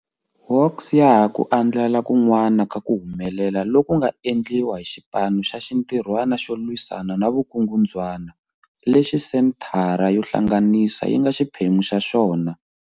Hawks ya ha ku andlala kun'wana ka ku humelela loku nga endliwa hi Xipano xa Xintirhwana xo Lwisana na Vukungundzwana, lexi Senthara yo Hlanganisa yi nga xiphemu xa xona.